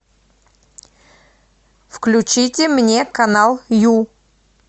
включите мне канал ю